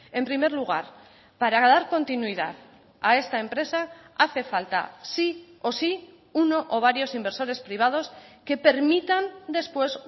en primer lugar para dar continuidad a esta empresa hace falta sí o sí uno o varios inversores privados que permitan después